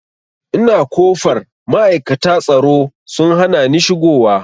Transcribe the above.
Ina kofar ma'aikata tsaro sun hanani shigo wa